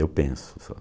Eu penso só.